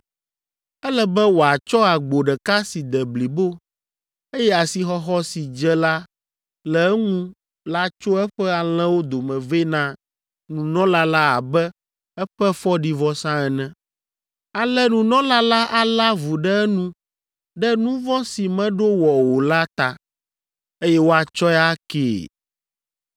Ele be wòatsɔ agbo ɖeka si de blibo, eye asixɔxɔ si dze la le eŋu la tso eƒe alẽwo dome vɛ na nunɔla la abe eƒe fɔɖivɔsa ene. Ale nunɔla la alé avu ɖe enu ɖe nu vɔ̃ si meɖo wɔ o la ta, eye woatsɔe akee.